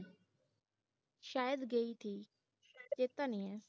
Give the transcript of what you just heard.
ਸਾਇਦ ਗਈ ਥੀ ਚੇਤਾ ਨਹੀਂ ਹੈ